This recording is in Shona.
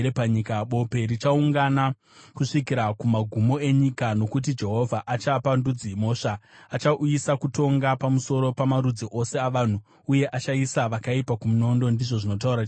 Bope richaunga kusvikira kumagumo enyika, nokuti Jehovha achapa ndudzi mhosva; achauyisa kutonga pamusoro pamarudzi ose avanhu uye achaisa vakaipa kumunondo,’ ” ndizvo zvinotaura Jehovha.